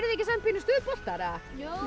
þið ekki samt pínu stuðboltar jú